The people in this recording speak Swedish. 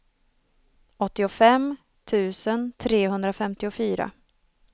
åttiofem tusen trehundrafemtiofyra